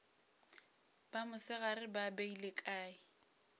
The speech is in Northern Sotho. ba mosegare ba beile kae